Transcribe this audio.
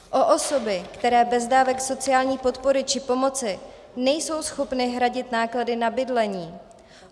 O osoby, které bez dávek sociální podpory či pomoci nejsou schopny hradit náklady na bydlení.